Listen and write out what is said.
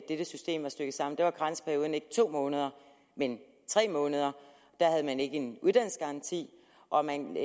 dette system stykket sammen var karensperioden ikke to måneder men tre måneder da havde man ikke en uddannelsesgaranti og man